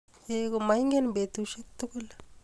Eiy komaingen petushek tugul